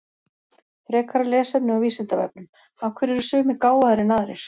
Frekara lesefni á Vísindavefnum Af hverju eru sumir gáfaðri en aðrir?